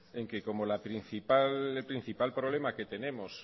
que como el principal problema que tenemos